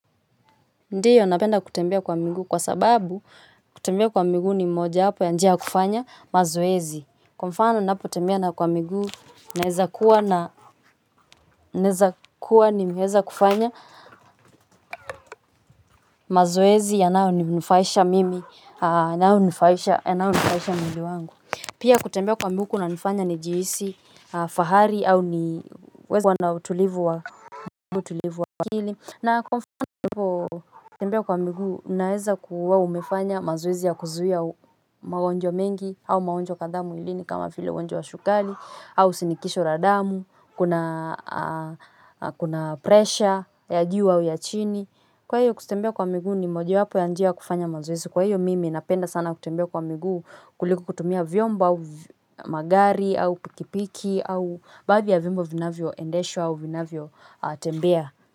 Ndiyo napenda kutembea kwa miguu kwa sababu kutembea kwa miguu ni mojawapo ya njia ya kufanya mazoezi. Kwa mfano ninapo tembea na kwa miguu naeza kuwa nimeweza kufanya mazoezi yanao ninufaisha mimi yanaonufaisha mwili wangu. Pia kutembea kwa miguu kunanifanya ni jihisi fahari au ni uwezo kuwa na utulivu wa akili na kwa mfano kutembea kwa miguu, unaeza kuwa umefanya mazoezi ya kuzuia magonjwa mengi au magonjwa kadhaa mwilini kama vile ugonjwa wa sukari au shinikisho la damu, kuna pressure ya juu au ya chini. Kwa hiyo kutembea kwa miguu ni mojawapo ya njia kufanya mazoezi. Kwa hiyo mimi napenda sana kutembea kwa miguu kuliko kutumia vyombo au magari au pikipiki au baadhi ya vyombo vinavyo endeshwa au vinavyo tembea.